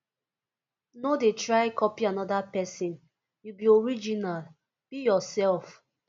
no de try copy another persin you be original be yourself